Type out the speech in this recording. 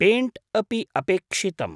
Paint अपि अपेक्षितम्।